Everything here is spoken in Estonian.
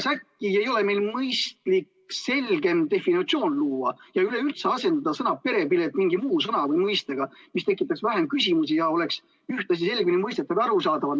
Äkki meil oleks mõistlik selgem definitsioon luua ja üleüldse asendada sõna "perepilet" mingi muu sõna või mõistega, mis tekitaks vähem küsimusi ja oleks ühtlasi selgemini mõistetavam ja arusaadavam?